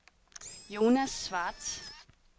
Jonas Schwartz